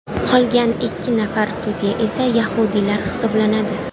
Qolgan ikki nafar sudya esa yahudiylar hisoblanadi.